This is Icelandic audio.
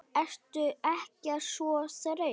Ertu ekkert svo þreytt?